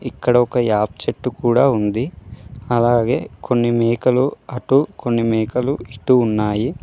ఇక్కడ ఒక యాప్ చెట్టు కూడా ఉంది అలాగే కొన్ని మేకలు అటు కొన్ని మేకలు ఇటూ ఉన్నాయి.